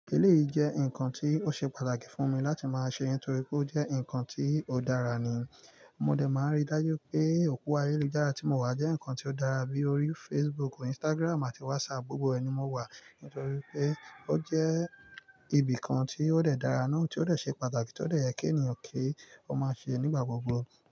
Eleyi jẹ́ nǹkan tí ó ṣe pàtàkì fún mi láti máa ṣe nítorí pé ó jẹ́ nǹkan tí ó dára ni. Mo dẹ̀ máa ń rí dájú pé òpo ayélujára tí mo wà jẹ́ nǹkan tí ó dára bíi orí Facebook, Instagram àti WhatsApp. Gbogbo ẹ ni mo wà nítorí pé ó jẹ́ ibìkan tí ó dẹ̀ dára náà tí ó dẹ̀ ṣe pàtàkì tí ó dẹ̀ yẹ kí ènìyàn kí ó máa ṣe nígbà gbogbo.